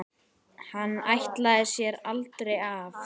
Hann ætlaði sér aldrei af.